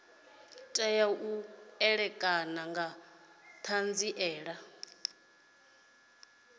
tea u ṋekana nga ṱhanziela